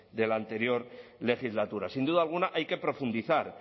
de la anterior legislatura sin duda alguna hay que profundizar